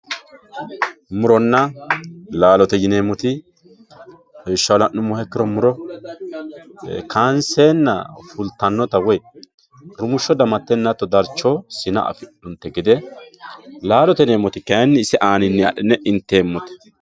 Muronna laallote yineemoti, irisha la'numoha ikkiro muro kaanseenna fulitanotta woyi rumusho damatenna daricho woyi sina afidhinonite gede, laallo yineemoti kayini isse anninni adhi'ne inteemote